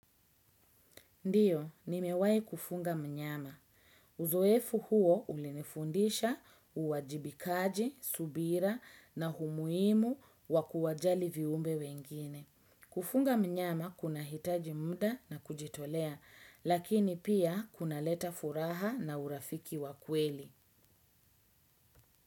Ndiyo, nimewai kufunga mnyama. Uzoefu huo ulinifundisha uwajibikaji, subira na humuimu wakuwajali viumbe wengine. Kufunga mnyama kuna hitaji mda na kujitolea, lakini pia kuna leta furaha na urafiki wakweli.